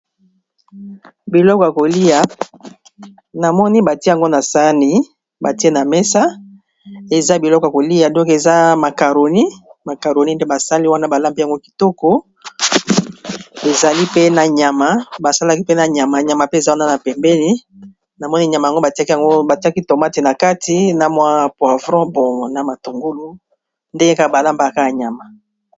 biloko ya koliya na moni batié yango na sani batié na méssa eza biloko kolia donk eza macaroni, macaroni nde basali wana balambi yango kitoko ezali pe na nyama basalaki pe nyama pe eza wana na pembéni na moni nyama yango batiaki yango batiaki tomati na kati na mwa poivron bon na matungulu nde balambaka nyama